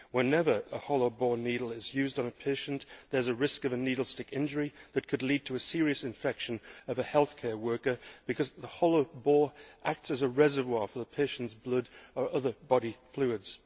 Whenever a hollow bore needle is used on a patient there is a risk of a needle stick injury that could lead to a serious infection of a healthcare worker because the hollow bore acts as a reservoir for the patient's blood or other body fluids.